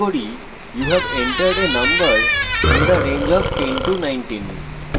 আমরা print করি you have entered a number in the range of 1019